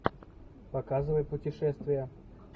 показывай путешествия